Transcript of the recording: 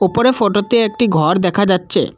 উপরে ফোটোতে একটি ঘর দেখা যাচ্ছে।